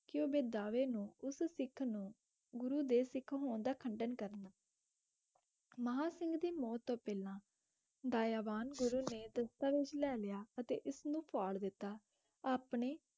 ਕਿ ਉਹ ਬੇਦਾਵੇ ਨੂੰ ਉਸ ਸਿੱਖ ਨੂੰ ਗੁਰੂ ਦੇ ਸਿੱਖ ਹੋਣ ਦਾ ਖੰਡਨ ਕਰਨ ਮਹਾਂ ਸਿੰਘ ਦੀ ਮੌਤ ਤੋਂ ਪਹਿਲਾਂ ਦਇਆਵਾਨ ਗੁਰੂ ਨੇ ਦਸਤਾਵੇਜ਼ ਲੈ ਲਿਆ ਅਤੇ ਇਸਨੂੰ ਫਾੜ ਦਿੱਤਾ ਆਪਣੇ